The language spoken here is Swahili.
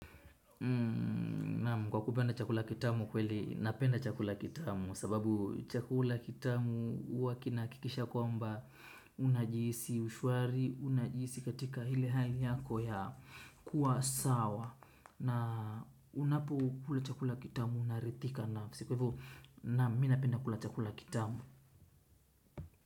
Naam, kwa kupenda chakula kitamu kweli napenda chakula kitamu sababu chakula kitamu huwa kinahakikisha kwamba unajihisi ushwari, unajihisi katika ile hali yako ya kuwa sawa na ninapokula chakula kitamu naridhika nayo. So kwa hivo naam, mi napenda kula chakula kitamu.